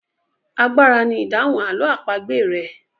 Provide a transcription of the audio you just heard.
Àgbàrá ni idahun àlọ́ àpagbè rẹ.